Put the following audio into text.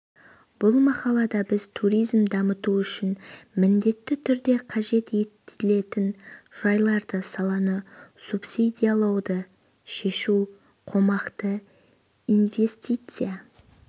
бұл мақалада біз туризмді дамыту үшін міндетті түрде қажет етілетін жайларды саланы субсидиялауды шешу қомақты инвестиция